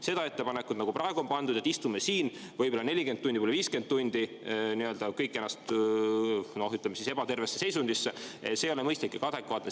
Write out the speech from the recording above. See ettepanek, nagu praegu on ette pandud, et istume siin võib-olla 40 tundi, võib-olla 50 tundi, kõik ennast, noh, ütleme, ebatervesse seisundisse, ei ole mõistlik ega adekvaatne.